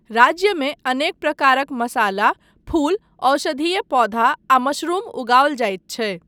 राज्यमे अनेक प्रकारक मसाला, फूल, औषधीय पौधा आ मशरूम उगाओल जाइत छै।